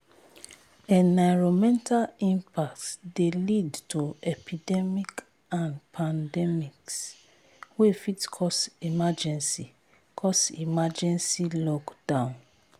enironmental impacts de lead to epidemic and pandemics wey fit cause emergency cause emergency lockdown